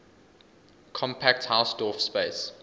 compact hausdorff space